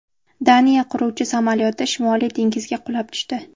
Daniya qiruvchi samolyoti Shimoliy dengizga qulab tushdi .